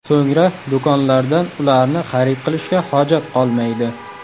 So‘ngra do‘konlardan ularni xarid qilishga hojat qolmaydi.